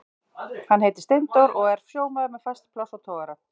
Hann heitir Steindór og er sjómaður með fast pláss á togara.